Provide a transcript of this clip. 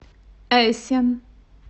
эссен